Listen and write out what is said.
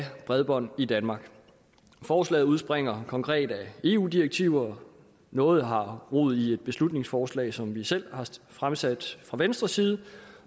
bredbånd i danmark forslaget udspringer konkret af eu direktiver noget har rod i et beslutningsforslag som vi selv har fremsat fra venstres side